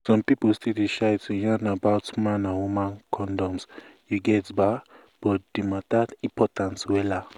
some pipu still dey shy to yarn about man and woman condoms you get ba but di matter important wella